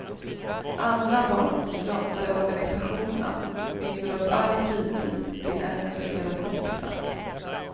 Andra barn struntar i organisationerna men binder upp all fritid till en eller flera kompisar.